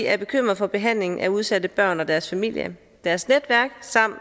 er bekymret for behandlingen af udsatte børn og deres familier deres netværk samt